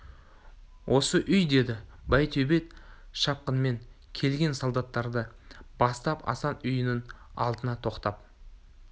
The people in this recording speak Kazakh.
осы үй деді байтөбет шапқынмен келген солдаттарды бастап асан үйінің алдына тоқтап